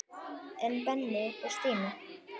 En Benni og Stína?